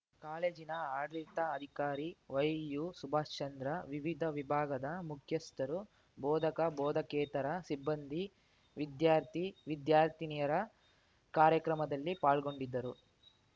ಕಾಲೇಜಿನ ಆಡಳಿತ ಅಧಿಕಾರಿ ವೈಯುಸುಭಾಶ್‌ಚಂದ್ರ ವಿವಿಧ ವಿಭಾಗದ ಮುಖ್ಯಸ್ಥರುಬೋಧಕಬೋಧಕೇತರ ಸಿಬ್ಬಂದಿ ವಿದ್ಯಾರ್ಥಿವಿದ್ಯಾರ್ಥಿನಿಯರ ಕಾರ್ಯಕ್ರಮದಲ್ಲಿ ಪಾಲ್ಗೊಂಡಿದ್ದರು